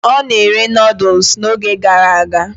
Ọ na-ere Nụ́dúls n'oge gara aga